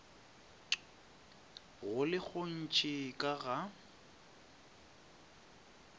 go le gontši ka ga